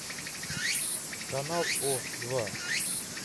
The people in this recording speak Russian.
канал о два